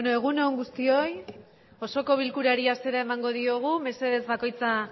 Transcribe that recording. egun on guztioi osoko bilkurari hasiera emango diogu mesedez bakoitza